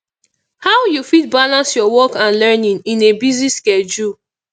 how you fit balance your work and learning in a busy schedule